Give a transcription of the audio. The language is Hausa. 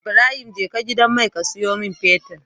Ibrahim jeka gidan mai ka siyo mun fetir